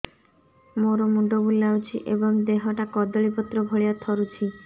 ମୋର ମୁଣ୍ଡ ବୁଲାଉଛି ଏବଂ ଦେହଟା କଦଳୀପତ୍ର ଭଳିଆ ଥରୁଛି